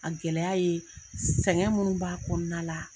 A gɛlɛya ye sɛgɛn minnu b'a kɔnɔna la